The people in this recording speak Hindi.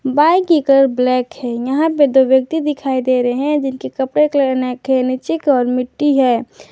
बाइक की कलर ब्लैक है यहां पे दो व्यक्ति दिखाई दे रहे हैं जिनके कपड़े कलर नेक है नीचे की ओर मिट्टी है।